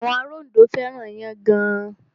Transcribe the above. Àwọn ará Ondo fẹ́ràn iyán gan.